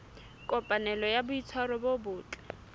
kopanelo ya boitshwaro bo botle